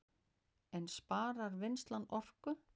En sparar vinnslan orku